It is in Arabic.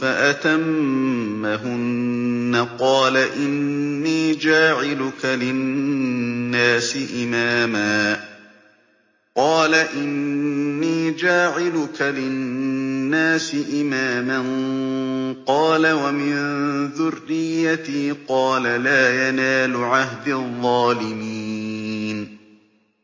فَأَتَمَّهُنَّ ۖ قَالَ إِنِّي جَاعِلُكَ لِلنَّاسِ إِمَامًا ۖ قَالَ وَمِن ذُرِّيَّتِي ۖ قَالَ لَا يَنَالُ عَهْدِي الظَّالِمِينَ